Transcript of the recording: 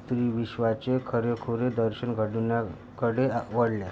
स्त्रीविश्वाचे खरेखुरे दर्शन घडविण्याकडे वळल्या